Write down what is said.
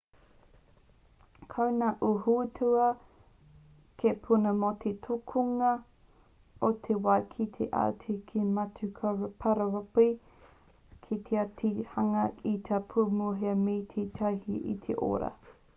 ko ngā auahitūroa hei puna mō te tukunga o te wai ki te ao tae atu ki ngā matū pararopi ka taea te hanga i ngā pūmua me te tautīnei i te ora